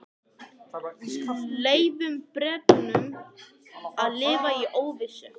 Leyfum Bretunum að lifa í óvissu.